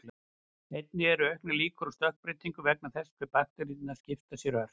Einnig eru auknar líkur á stökkbreytingu vegna þess hve bakteríur skipta sér ört.